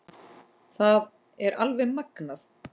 Það er alveg magnað.